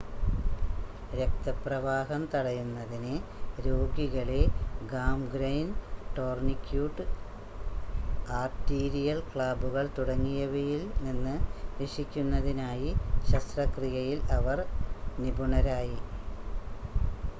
രക്തപ്രവാഹം തടയുന്നതിന് രോഗികളെ ഗാംഗ്രൈൻ ടോർണിക്യൂട്ട് ആർട്ടീരിയൽ ക്ലാമ്പുകൾ തുടങ്ങിയവയിൽ നിന്ന് രക്ഷിക്കുന്നതിനായി ശസ്ത്രക്രിയയിൽ അവർ നിപുണരായി